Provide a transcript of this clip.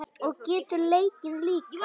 Og getur leikið líka.